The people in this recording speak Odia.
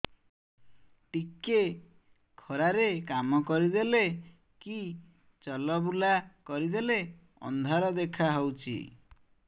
ଟିକେ ଖରା ରେ କାମ କରିଦେଲେ କି ଚଲବୁଲା କରିଦେଲେ ଅନ୍ଧାର ଦେଖା ହଉଚି